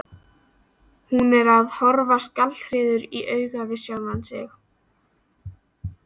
Hún er að horfast gallharður í augu við sjálfan sig.